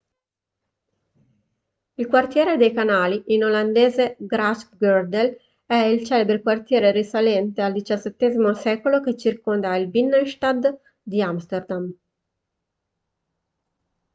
il quartiere dei canali in olandese grachtengordel è il celebre quartiere risalente al xvii secolo che circonda il binnenstad di amsterdam